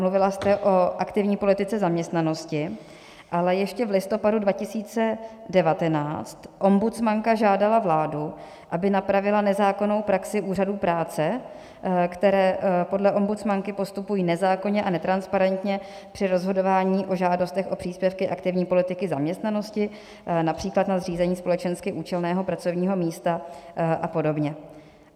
Mluvila jste o aktivní politice zaměstnanosti, ale ještě v listopadu 2019 ombudsmanka žádala vládu, aby napravila nezákonnou praxi úřadů práce, které podle ombudsmanky postupují nezákonně a netransparentně při rozhodování o žádostech o příspěvky aktivní politiky zaměstnanosti, například na zřízení společensky účelného pracovního místa a podobně.